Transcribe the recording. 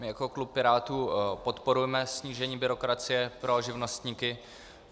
My jako klub Pirátů podporujeme snížení byrokracie pro živnostníky.